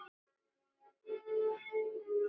Hvað er ykkur á höndum?